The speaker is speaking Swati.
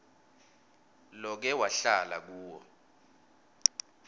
loke wahlala kuwo